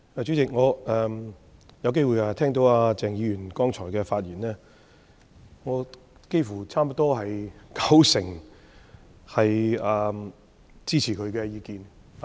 主席，我剛才有機會聽到鄭松泰議員的發言，我差不多支持他九成的意見。